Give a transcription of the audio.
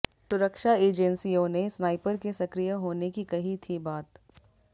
सुरक्षा एजेंसियों ने स्नाइपर के सक्रिय होने की कही थी बात